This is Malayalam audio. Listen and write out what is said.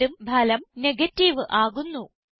വീണ്ടും ഫലം നെഗേറ്റീവ് ആകുന്നു